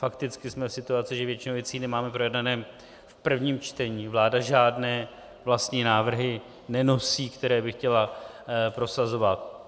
Fakticky jsme v situaci, že většinu věcí nemáme projednanou v prvním čtení, vláda žádné vlastní návrhy nenosí, které by chtěla prosazovat.